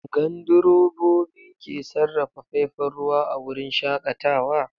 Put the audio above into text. Gandrobobi ke sarrafa faifan ruwa a wurin shakatawa?